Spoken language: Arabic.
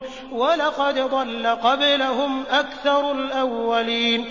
وَلَقَدْ ضَلَّ قَبْلَهُمْ أَكْثَرُ الْأَوَّلِينَ